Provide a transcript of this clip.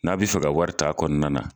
N'a bi fɛ ka wari taa a kɔnɔna na.